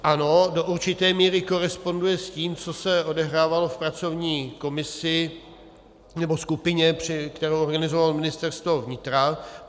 Ano, do určité míry koresponduje s tím, co se odehrávalo v pracovní komisi, nebo skupině, kterou organizovalo Ministerstvo vnitra.